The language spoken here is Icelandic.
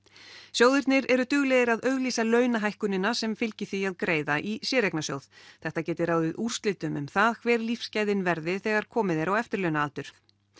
sjóðirnir eru duglegir að auglýsa launahækkunina sem fylgi því að greiða í séreignasjóð þetta geti ráðið úrslitum um það hver lífsgæðin verði þegar komið er á eftirlaunaaldur